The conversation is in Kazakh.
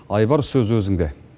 айбар сөз өзіңде